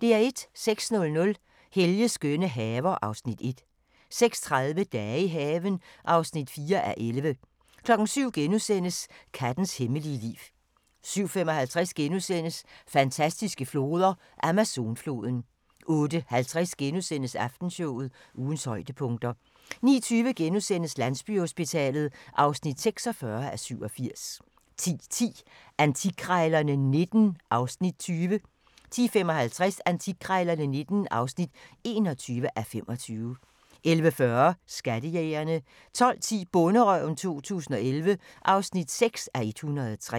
06:00: Helges skønne haver (Afs. 1) 06:30: Dage i haven (4:11) 07:00: Kattens hemmelige liv * 07:55: Fantastiske floder: Amazonfloden * 08:50: Aftenshowet – ugens højdepunkter * 09:20: Landsbyhospitalet (46:87)* 10:10: Antikkrejlerne XIX (20:25) 10:55: Antikkrejlerne XIX (21:25) 11:40: Skattejægerne 12:10: Bonderøven 2011 (6:103)